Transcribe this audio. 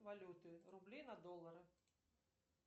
валюты рубли на доллары